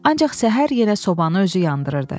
Ancaq səhər yenə sobanı özü yandırırdı.